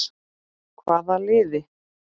Hvaða liði?